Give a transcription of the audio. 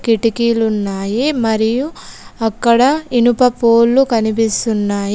కిటికీలు ఉన్నాయి మరియు అక్కడ ఇనుప ఫోల్లు కనిపిస్తున్నాయి.